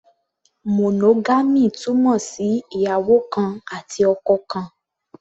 Monogamy túmọ̀ sí ìyàwó kan àti ọkọ kan.